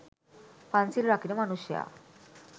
පන්සිල් රකින මනුෂ්‍යා